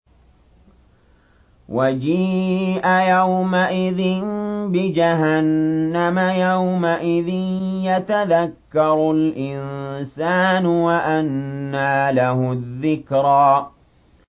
وَجِيءَ يَوْمَئِذٍ بِجَهَنَّمَ ۚ يَوْمَئِذٍ يَتَذَكَّرُ الْإِنسَانُ وَأَنَّىٰ لَهُ الذِّكْرَىٰ